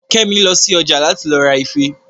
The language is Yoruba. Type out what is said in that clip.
Kẹ́mi lọ sí ọjà láti lọ ra ife